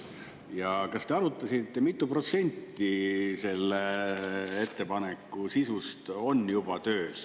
Ja kas te arutasite, mitu protsenti selle ettepaneku sisust on juba töös.